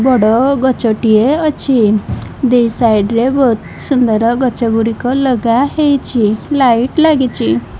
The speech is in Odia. ବଡ଼ ଗଛ ଟିଏ ଅଛି ଦି ସାଇଡ୍ ରେ ବୋହୁତ୍ ସୁନ୍ଦର ଗଛ ଗୁଡ଼ିକ ଲଗା ହେଇଛି ଲାଇଟ୍ ଲାଗିଚି।